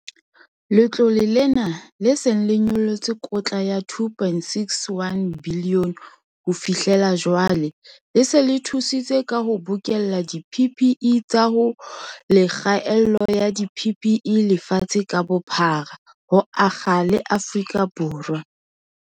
Letlole lena, le seng le nyollotse kotla ya R2.61 bilione ho fi hlela jwale, le se le thusitse ka ho bokella di-PPE tsa ho le kgaello ya di-PPE lefatshe ka bophara, ho akga le Afrika Borwa.